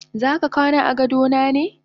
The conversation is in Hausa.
Zaka kwana agadona ne?